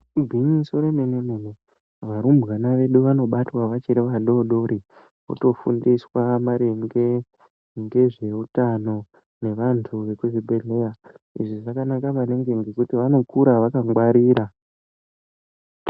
Igwinyiso remenemene, Varumbwana edu anobatwa vachiri vadori dori kutofundiswa maringe ngezvehutano neantu vekuzvibhehlera ,izvi zvakanaka maningi nokuti vanokura vakangwarira.